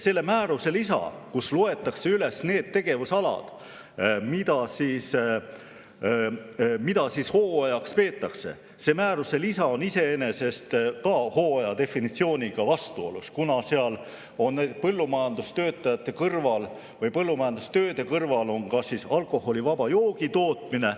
Selle määruse lisa, kus loetakse üles need tegevusalad, mida hooaja peetakse, on iseenesest hooaja definitsiooniga vastuolus, kuna seal on põllumajandustööde kõrval ka alkoholivaba joogi tootmine.